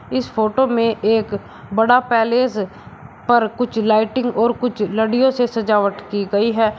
इस फोटो में एक बड़ा पैलेस पर कुछ लाइटिंग और कुछ लड़ियों से सजावट की गई है।